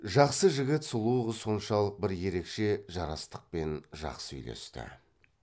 жақсы жігіт сұлу қыз соншалық бір ерекше жарастықпен жақсы үйлесті